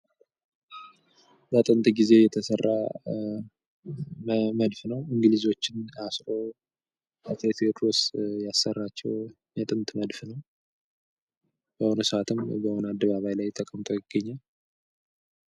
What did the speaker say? በጥንት ጊዜ የተሰራ መድፍ ነው። እንግሊዞችን አስሮ አጼ ቴዎድሮስ ያሰራቸው መድፍ የጥንት መድፍ ነው። በአሁኑ ሰአትም በአደባባይ ተቀምጦ ይገኛል።